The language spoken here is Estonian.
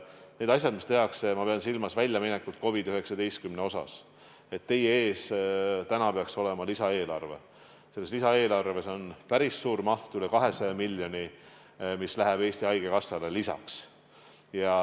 Need asjad, mis tehakse – ma pean silmas väljaminekuid COVID-19 tõttu, teie ees täna peaks olema lisaeelarve –, on otsused, et päris suur maht, üle 200 miljoni läheb Eesti Haigekassale lisaks.